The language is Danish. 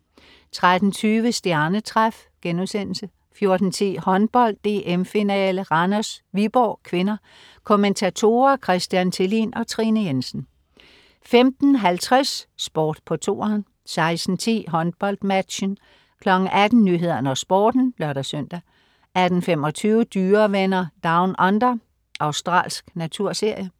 13.20 Stjernetræf* 14.10 Håndbold. DM-finale: Randers-Viborg (k). Kommentatorer: Christian Thelin og Trine Jensen 15.50 Sport på 2'eren 16.10 HåndboldMatchen 18.00 Nyhederne og Sporten (lør-søn) 18.25 Dyrevenner Down Under. Australsk naturserie